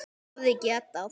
Hefði getað.